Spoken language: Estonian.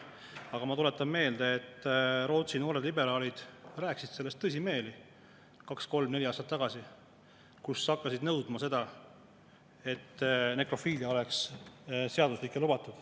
Aga ma tuletan meelde, et Rootsi noored liberaalid rääkisid sellest tõsimeeli kaks-kolm-neli aastat tagasi, nad hakkasid nõudma seda, et nekrofiilia oleks seaduslik ja lubatud.